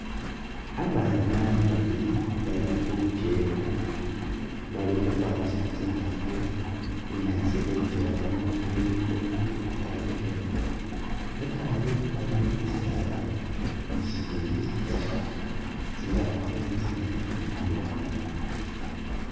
Abana babili bali khuchewa balikhukhwayisa tsingafu bunyaasi khuchewa khuno bulikho bukaali bubwene lwataayi waliwo bisaala nibitsakha tsingafu tsili tsimali nikindi i'wanga